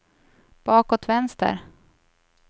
bakåt vänster